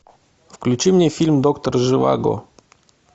включи мне фильм доктор живаго